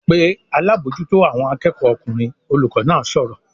"Pe alábòójútó àwọn akẹ́kọ̀ọ́ ọkùnrin!" Olùkọ́ náà sọ̀rọ̀